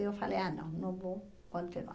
Eu falei, ah, não, não vou continuar.